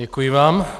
Děkuji vám.